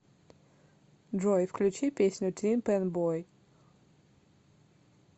джой включи песню тин пэн бой